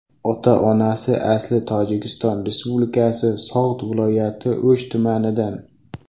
Ota-onasi asli Tojikiston Respublikasi So‘g‘d viloyati O‘sh tumanidan.